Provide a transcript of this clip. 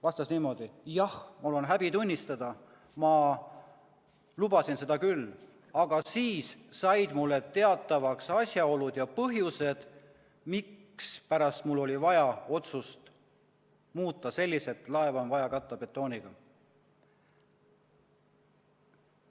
Vastas niimoodi: jah, mul on häbi tunnistada, ma lubasin seda küll, aga siis said mulle teatavaks asjaolud ja põhjused, mispärast mul oli vaja otsust muuta selliselt, et laev on vaja katta betooniga.